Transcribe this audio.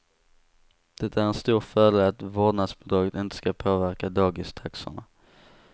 Det är en stor fördel att vårdnadsbidraget inte ska påverka dagistaxorna.